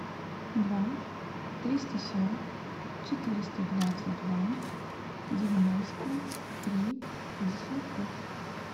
два триста сорок четыреста двадцать два девяносто три пятьдесят пять